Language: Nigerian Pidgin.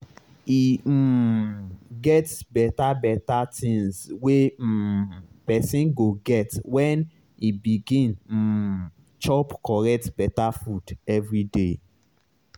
e um get beta beta tinz wey um pesin go get when e begin um chop correct beta food everyday